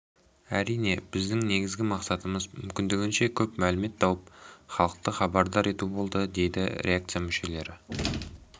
әрине біздің негізгі мақсатымыз мүмкіндігінше көп мәлімет тауып халықты хабардар ету болды дейді редакция мүшелері